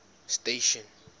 station